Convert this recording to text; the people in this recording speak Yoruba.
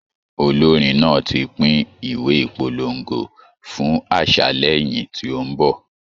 Olórin náà ti pín ìwé ìpolongo fún àṣálẹ́ ìyìn tí ó ń bọ̀.